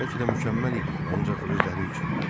Bəlkə də mükəmməl idilər, ancaq özləri üçün.